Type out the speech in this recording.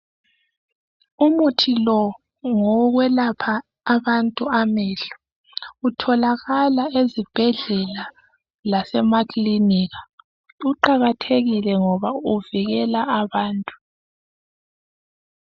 Umuthi lo ngowo kwelapha abantu amehlo kutholakala ezibhedlela lasemakilinika kuqakathekile ngoba uvikela abantu